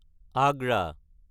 Agra